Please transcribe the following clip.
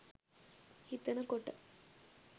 හිතන කොට